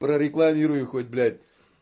прорекламируй их хоть блядь